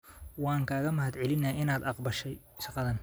Waan kaaga mahadcelinayaa inaad aqbashay shaqadan.